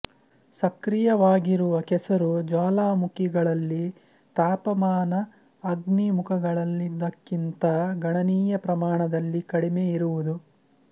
ಸಕ್ರಿಯವಾಗಿರುವ ಕೆಸರು ಜ್ವಾಲಾಮುಖಿಗಳಲ್ಲಿ ತಾಪಮಾನ ಅಗ್ನಿಮುಖಗಳಲ್ಲಿಯದಕ್ಕಿಂತ ಗಣನೀಯ ಪ್ರಮಾಣದಲ್ಲಿ ಕಡಿಮೆಯಿರುವುದು